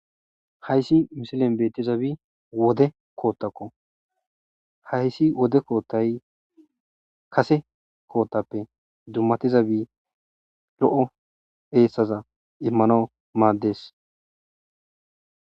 hayssi misilen bettizabi wode koottakko hayssi wode koottay kase koottappe dummatizabi lo7o heessaza immano maaddes